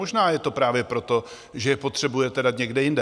Možná je to právě proto, že je potřebujete dát někde jinde.